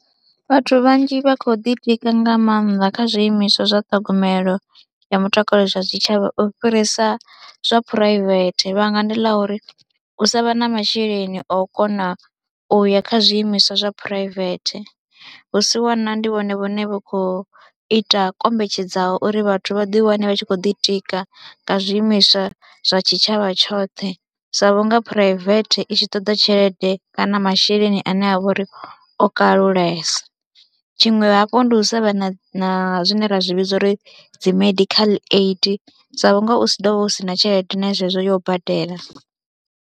Vhathu vhanzhi vha khou ḓitika nga maanḓa kha zwiimiswa zwa ṱhogomelo ya mutakalo zwa tshitshavha u fhirisa zwa phuraivethe vhanga ndi ḽa uri u sa vha na masheleni a u kona u ya kha zwiimiswa zwa phuraivethe, vhusiwana ndi vhone vhane vhu khou ita kombetshedzaho uri vhathu vha ḓiwane vha tshi khou ḓitika nga zwiimiswa zwa tshitshavha tshoṱhe sa vhunga phuraivethe i tshi ḓo ṱoḓa tshelede kana masheleni ane a vha uri o kalulesa. Tshiṅwe hafhu ndi u sa vha na zwine ra zwi vhidza uri dzi medical aid sa vhunga u si ḓo vha u si na tshelede na zwezwo yo badela.